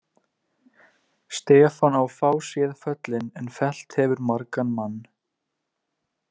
Stefán á fáséð föllin en fellt hefur margan mann.